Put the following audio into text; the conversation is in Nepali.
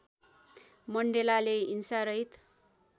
मण्डेलाले हिंसारहित